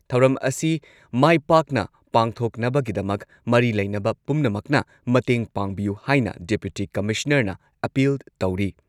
ꯊꯧꯔꯝ ꯑꯁꯤ ꯃꯥꯏ ꯄꯥꯛꯅ ꯄꯥꯡꯊꯣꯛꯅꯕꯒꯤꯗꯃꯛ ꯃꯔꯤ ꯂꯩꯅꯕ ꯄꯨꯝꯅꯃꯛꯅ ꯃꯇꯦꯡ ꯄꯥꯡꯕꯤꯌꯨ ꯍꯥꯏꯅ ꯗꯤꯄꯨꯇꯤ ꯀꯃꯤꯁꯅꯔꯅ ꯑꯥꯄꯤꯜ ꯇꯧꯔꯤ꯫